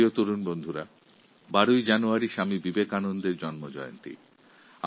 প্রিয় যুবাবন্ধুরা ১২ই জানুয়ারি স্বামী বিবেকানন্দের জন্মজয়ন্তী